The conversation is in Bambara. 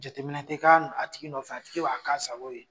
Jateminɛ tɛ k'a tigi nɔfɛ, a tigi b'a k' an sago ye.